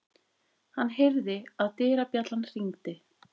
Hann heyrði að dyrabjallan hringdi.